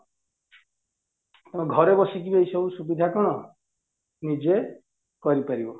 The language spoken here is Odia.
ଘରେ ବସିକି ଏଇ ସବୁ ସୁବିଧା କଣ ନିଜେ କରି ପାରିବ